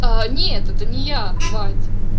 а нет это не я вадь